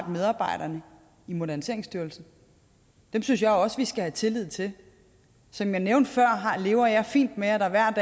medarbejderne i moderniseringsstyrelsen dem synes jeg også vi skal tillid til som jeg nævnte før lever jeg fint med at der hver